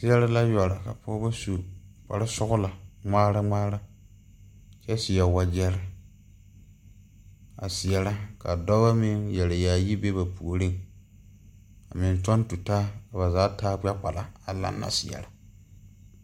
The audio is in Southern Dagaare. Seɛre la yɔre ka pɔgeba su kparesɔglɔ ŋmaara ŋmaara kyɛ seɛ wagyɛre a seɛrɛ ka dɔba meŋ yɛre yaayi be ba puoriŋ a meŋ kyɔŋ tutaa ba zaa taa gbɛkpala a laŋna seɛrɛ.